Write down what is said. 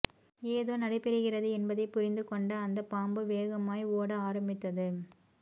ஏதோ நடைபெறுகிறது என்பதை புரிந்து கொண்ட அந்த பாம்பு வேகமாய் ஓட ஆரம்பித்தது